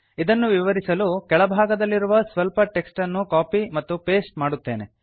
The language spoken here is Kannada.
ಇದನ್ನು ವಿವರಿಸಲು ಕೆಳಭಾಗದಲ್ಲಿರುವ ಸ್ವಲ್ಪ ಟೆಕ್ಸ್ಟ್ ಅನ್ನು ಕಾಪಿ ಮತ್ತು ಪಾಸ್ಟೆ ಮಾಡುತ್ತೇನೆ